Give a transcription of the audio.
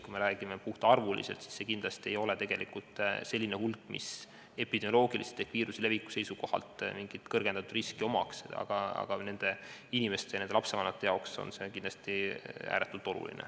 Kui me räägime puht arvuliselt, siis kindlasti ei ole tegemist sellise hulgaga, mis epidemioloogiliselt ehk viiruse leviku seisukohalt mingisugust kõrgendatud riski omaks, aga nende inimeste, nende lapsevanemate jaoks on see kindlasti ääretult oluline.